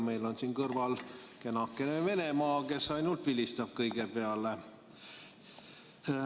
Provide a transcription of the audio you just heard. Meil on siin kõrval kenakene Venemaa, kes ainult vilistab kõige peale.